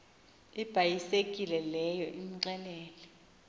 ibhayisekile leyo umxelele